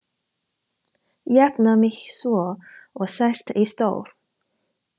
Jafna mig svo og sest í stól.